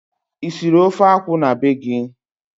Ị siri ofe akwụ na be gị?